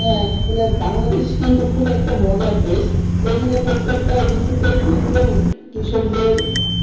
হ্যাঁ আসলে বাংলাদেশ কিন্তু খুব একটা মজার দেশ এখানে প্রত্যেকটা ঋতু টাই কিন্তু কৃষকদের,